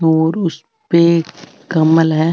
और उसपे एक कंबल है।